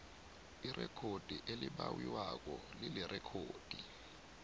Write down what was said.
irekhodi elibawiwako lilirekhodi